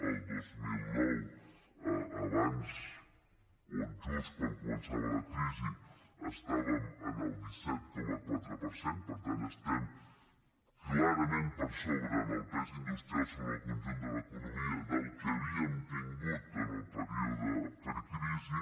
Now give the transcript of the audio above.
el dos mil nou abans o just quan començava la crisi estàvem en el disset coma quatre per cent per tant estem clarament per sobre en el pes industrial sobre el conjunt de l’economia del que havíem tingut en el període precrisi